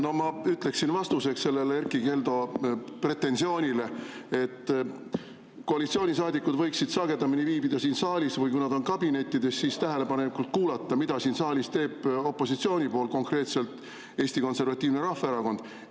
No ma ütleksin vastuseks Erkki Keldo pretensioonile, et koalitsioonisaadikud võiksid sagedamini siin saalis viibida või kui nad on kabinettides, siis tähelepanelikult kuulata, mida siin saalis teeb opositsioon, konkreetselt Eesti Konservatiivne Rahvaerakond.